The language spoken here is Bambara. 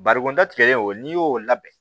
Barikonda tigɛli o n'i y'o labɛn